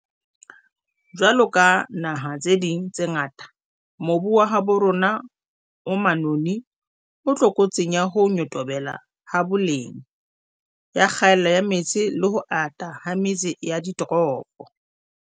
Jwaloka dinaha tse ding tse ngata, mobu wa habo rona o manoni o tlokotsing ya ho nyotobela ha boleng, ya kgaello ya metsi le ho ata ha metse ya ditoropo.